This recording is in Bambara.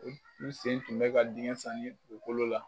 N u sen tun bɛ ka diŋɛ sani u kolo la.